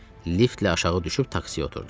Liftlə aşağı düşüb taksiyə oturdum.